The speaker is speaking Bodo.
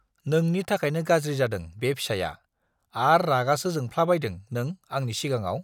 नोंनि थाखायनो गाज्रि जादों बे फिसाया - आर रागासो जोंफ्लाबायदों नों आंनि सिगाङाव?